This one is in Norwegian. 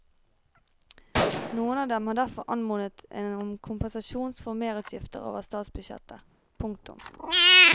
Noen av dem har derfor anmodet om kompensasjon for merutgiftene over statsbudsjettet. punktum